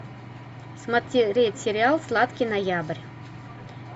смотреть сериал сладкий ноябрь